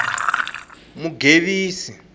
mugevisa